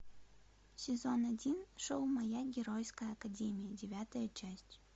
сезон один шоу моя геройская академия девятая часть